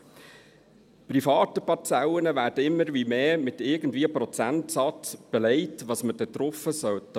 Zweitens: Private Parzellen werden immer mehr mit irgendwelchen Prozentsätzen belegt, was man darauf machen sollte.